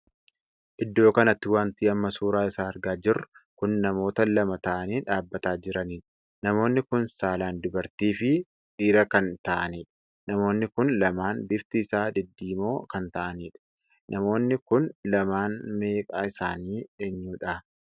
Iddoo kanatti wanti amma suuraa isaa argaa jirru kun namoota lama taa'anii dhaabbataa jiraniidha. namoonni kun saalaan dubartii fi dhiira kan taa'aniidha. namoonni kun lamaan bifti isaa diddiimoo kan taa'aniidha. namoonni kun lamaan maqaa isaanii eenyudha?